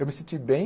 Eu me senti bem,